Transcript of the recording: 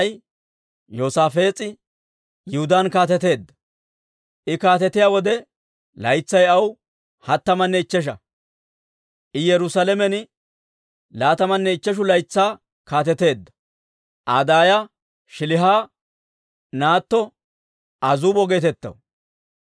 I kaatetiyaa wode laytsay aw hattamanne ichchesha; I Yerusaalamen laatamanne ichcheshu laytsaa kaateteedda. Aa daaya Shiiliha naatto Azuubo geetettaw.